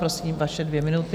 Prosím, vaše dvě minuty.